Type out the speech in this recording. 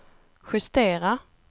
justera